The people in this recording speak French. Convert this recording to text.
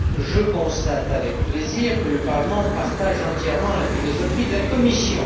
Je constate avec plaisir que le Parlement partage entièrement la philosophie de la Commission.